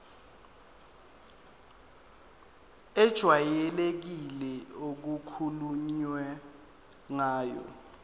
ejwayelekile okukhulunywe ngayo